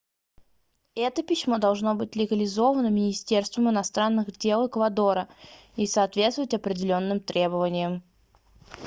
это письмо должно быть легализовано министерством иностранных дел эквадора и соответствовать определённым требованиям